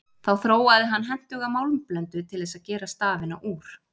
Þá þróaði hann hentuga málmblöndu til þess að gera stafina úr.